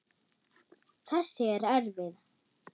Þessi er erfið.